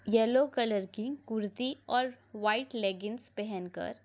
yellow colour की कुर्ती और व्हाइट लेगिन्स पहनकर --